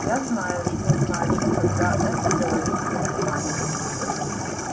я знаю что значит когда это говорит математик